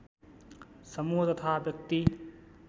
समूह तथा व्यक्ति